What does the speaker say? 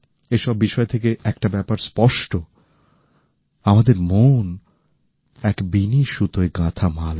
এই সব বিষয় থেকে একটা ব্যাপার স্পষ্ট আমাদের মন এক বিনি সুতোয় গাথামালা